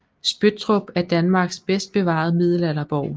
Spøttrup er Danmarks bedst bevarede middelalderborg